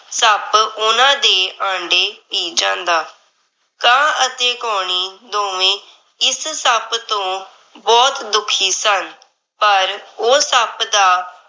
ਸੱਪ ਓਹਨਾਂ ਦੇ ਆਂਡੇ ਪੀ ਜਾਂਦਾ ਉਹਨਾਂ ਦੇ ਆਂਡੇ ਪੀ ਜਾਂਦਾ। ਕਾਂ ਅਤੇ ਕਉਣੀ ਦੋਵੇਂ ਇਸ ਸੱਪ ਤੋਂ ਬਹੁਤ ਦੁੱਖੀ ਸਨ। ਪਰ ਉਹ ਸੱਪ ਦਾ